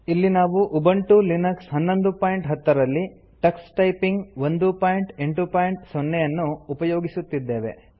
ಇಲ್ಲಿ ನಾವು Ubuntu Linux 1110 ರಲ್ಲಿ ಟಕ್ಸ್ ಟೈಪಿಂಗ್ 180 ನ್ನು ಉಪಯೋಗಿಸುತ್ತಿದ್ದೇವೆ